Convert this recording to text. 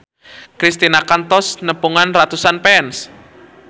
Kristina kantos nepungan ratusan fans